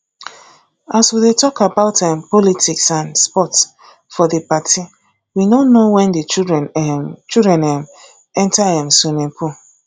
as we dey talk about um politics and sports for the party we no know wen the children um children um enter um swimming pool